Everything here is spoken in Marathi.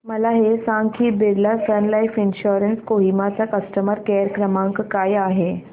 मला हे सांग की Birla sun life insurance Kohima चा कस्टमर केअर क्रमांक काय आहे